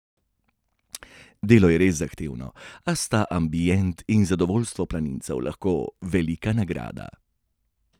Delo je res zahtevno, a sta ambient in zadovoljstvo planincev lahko velika nagrada.